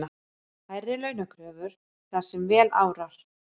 Hærri launakröfur þar sem vel árar